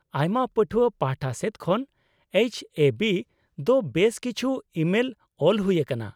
ᱟᱭᱢᱟ ᱯᱟᱹᱴᱷᱣᱟᱹ ᱯᱟᱷᱴᱟ ᱥᱮᱫ ᱠᱷᱚᱱ ᱮᱭᱤᱪᱹ ᱮᱹ ᱵᱤᱹ ᱫᱚ ᱵᱮᱥ ᱠᱤᱪᱷᱩ ᱤᱢᱮᱞ ᱚᱞ ᱦᱩᱭ ᱟᱠᱟᱱᱟ ᱾